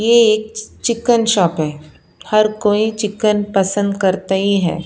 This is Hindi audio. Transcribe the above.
ये एक चि चिकन शॉप है हर कोई चिकन पसंद करता ही है।